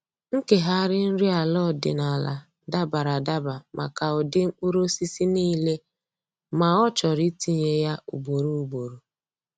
Nkegharị nri ala ọdịnaala dabara adaba maka ụdị mkpụrụosisi niile ma ọ chọrọ itinye ya ugboro ugboro.